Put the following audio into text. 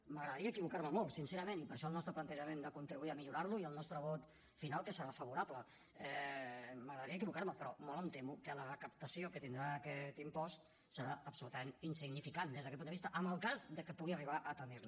m’agradaria equivocar me molt sincerament i per això el nostre plantejament de contribuir a millorar lo i el nostre vot final que serà favorable m’agradaria equivocar me però molt em temo que la recaptació que tindrà aquest impost serà absolutament insignificant des d’aquest punt de vista en el cas de que pugui arribar a tenir la